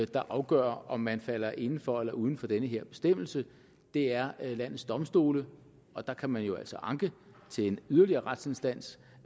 der afgør om man falder inden for eller uden for den her bestemmelse det er landets domstole og der kan man jo altså anke til en yderligere retsinstans